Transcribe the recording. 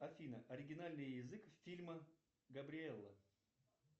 афина оригинальный язык фильма габриэлла